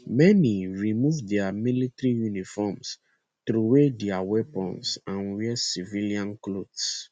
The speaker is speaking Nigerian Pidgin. many remove dia military uniforms troway dia weapons and wear civilian clothes